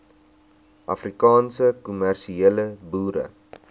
afrikaanse kommersiële boere